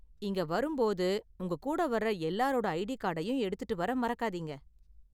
இங்க வரும் போது உங்க கூட வர்ற எல்லாரோட ஐடி கார்டையும் எடுத்துட்டு வர மறக்காதீங்க.